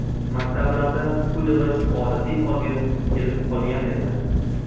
Maktablarda pul yig‘ish odatiy holga kelib qolgan edi.